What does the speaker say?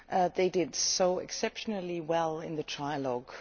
They did exceptionally well in the trilogue.